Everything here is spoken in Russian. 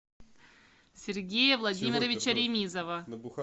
сергея владимировича ремизова